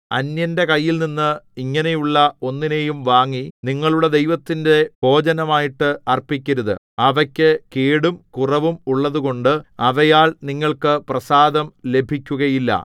അന്യന്റെ കൈയിൽനിന്ന് ഇങ്ങനെയുള്ള ഒന്നിനെയും വാങ്ങി നിങ്ങളുടെ ദൈവത്തിന്റെ ഭോജനമായിട്ട് അർപ്പിക്കരുത് അവയ്ക്കു കേടും കുറവും ഉള്ളതുകൊണ്ട് അവയാൽ നിങ്ങൾക്ക് പ്രസാദം ലഭിക്കുകയില്ല